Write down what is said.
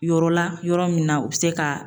Yɔrɔ la , yɔrɔ min na , u bɛ se ka